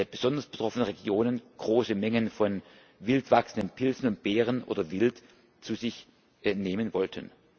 besonders betroffenen Regionen große Mengen von wild wachsenden Pilzen und Beeren oder Wild zu sich nehmen wollten.